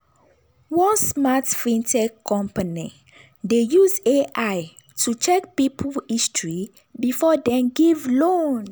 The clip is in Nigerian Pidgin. one smart fintech company dey use ai to check people history before dem give loan.